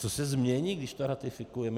Co se změní, kdy to ratifikujeme?